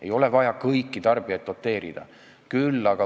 Ei ole vaja kõiki tarbijaid doteerida.